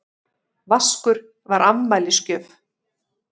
Vaskur var afmælisgjöf.